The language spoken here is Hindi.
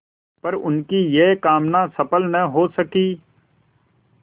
पर उनकी यह कामना सफल न हो सकी